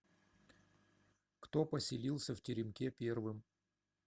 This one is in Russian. кто поселился в теремке первым